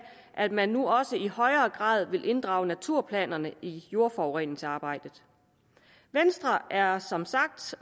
at man nu også i højere grad vil inddrage naturplanerne i jordforureningsarbejdet venstre er som sagt